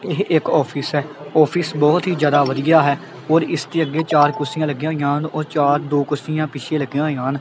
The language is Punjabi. ਇਹ ਇੱਕ ਆਫਿਸ ਐ ਆਫਿਸ ਬਹੁਤ ਹੀ ਜਿਆਦਾ ਵਧੀਆ ਹੈ ਔਰ ਇਸ ਦੇ ਅੱਗੇ ਚਾਰ ਕੁਰਸੀਆਂ ਲੱਗੀਆਂ ਹੋਈਆਂ ਹਨ ਉਹ ਚਾਰ ਦੋ ਕੁਰਸੀਆਂ ਪਿੱਛੇ ਲੱਗੀਆਂ ਹੋਈਆਂ ਹਨ।